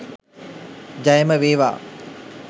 ජයම වේවා